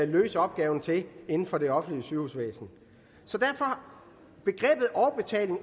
løse opgaven til inden for det offentlige sygehusvæsen så derfor